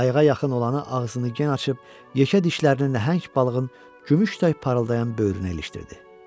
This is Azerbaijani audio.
Qayığa yaxın olanı ağzını gen açıb yekə dişlərini nəhəng balığın gümüş tay parıldayan böyrünə ilişdirdi.